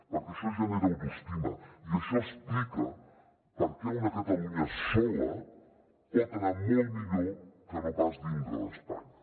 perquè això genera autoestima i això explica per què una catalunya sola pot anar molt millor que no pas dintre d’espanya